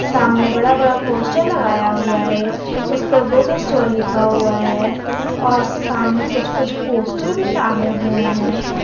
सामने बड़ा बड़ा पोस्टर लगाया हुआ है उसपे बुक स्टोर लिखा हुआ है और सामने कुछ कुछ पोस्टर भी टांगे हुए हैं।